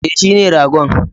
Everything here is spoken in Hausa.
E, shine ragon.